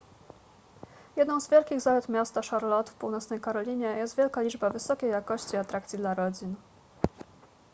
jedną z wielkich zalet miasta charlotte w północnej karolinie jest wielka liczba wysokiej jakości atrakcji dla rodzin